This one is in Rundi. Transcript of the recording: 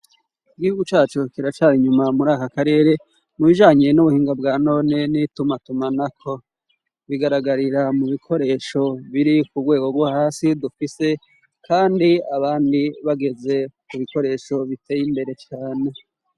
Igihugu cyacu kiracari inyuma muri aka karere mu bijanye n'ubuhinga bwa none n'itumatumanako bigaragarira mu bikoresho biri ku rwego rwo hasi dufise kandi abandi bageze ku bikoresho biteye imbere cane.